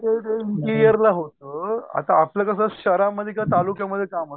हो हो होत आता आपलं कस शहरामध्ये का तालुक्यामध्ये काम असत